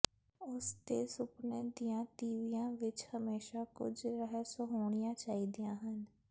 ਉਸ ਦੇ ਸੁਪਨੇ ਦੀਆਂ ਤੀਵੀਆਂ ਵਿੱਚ ਹਮੇਸ਼ਾਂ ਕੁਝ ਰਹੱਸ ਹੋਣੀਆਂ ਚਾਹੀਦੀਆਂ ਹਨ